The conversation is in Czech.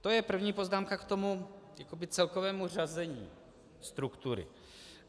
To je první poznámka k tomu celkovému řazení struktury.